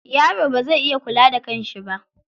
Yaro bazai iya kula da kan shi ba.